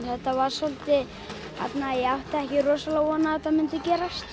þetta var soldið ég átti ekki von á að þetta myndi gerast